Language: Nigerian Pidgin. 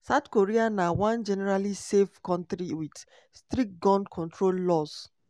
south korea na one generally safe kontri wit strict gun control laws.